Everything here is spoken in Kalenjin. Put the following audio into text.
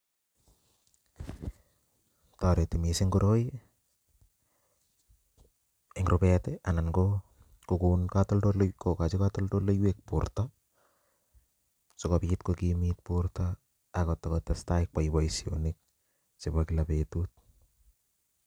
Toreti missing koroi en rubet tii anan ko kokon kotoldoli kokochi kotoldoleiwek borto sikopit kokimit borto akotakotesta kwani boishonik chebo kila betut.